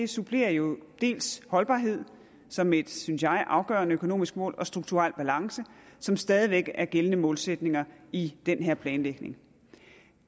supplerer jo dels holdbarhed som et synes jeg afgørende økonomisk mål dels strukturel balance som stadig væk er gældende målsætninger i den her planlægning